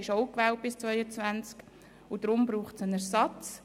Er ist ebenfalls bis 2022 gewählt, und es braucht daher einen Ersatz.